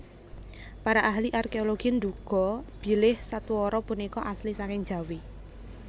Para ahli arkeologi nduga bilih sadwara punika asli saking Jawi